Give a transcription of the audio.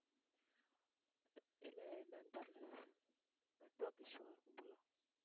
இல்லை என்னன்னு தெரியலை network issue ஆ இருக்கும் போல